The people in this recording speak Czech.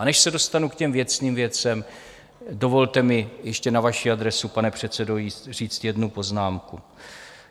A než se dostanu k těm věcným věcem, dovolte mi ještě na vaši adresu, pane předsedo, říct jednu poznámku.